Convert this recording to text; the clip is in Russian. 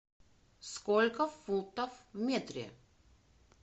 сколько футов в метре